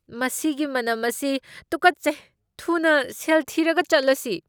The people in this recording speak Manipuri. ꯃꯁꯤꯒꯤ ꯃꯅꯝ ꯑꯁꯤ ꯇꯨꯀꯠꯆꯩ꯫ ꯊꯨꯅ ꯁꯦꯜ ꯊꯤꯔꯒ ꯆꯠꯂꯁꯤ꯫